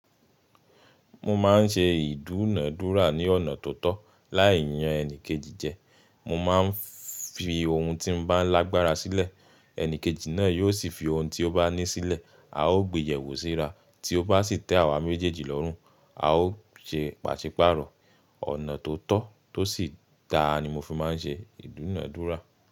Mo ma n ṣe ìdúnàdúrà ní ọ̀nà tó tọ́. Láì yàn ẹni kejì jẹ, mo máa n fi ohun tí mo bá lágbára sílẹ̀, ẹni kejì náà yóò sì fi ohun tí ó bá ní sílẹ̀, a ó gbéyẹ̀wò síra, tí ó bá sì tẹ́ àwa méjèèjì lọ́rùn, a ó ṣe pàṣípààrọ̀. Ọ̀nà tó tọ́ tó sì dáa ni mo fi má n ṣe ìdúnàdúrà.